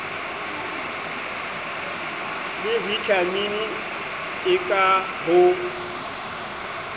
le vitamini e ka ho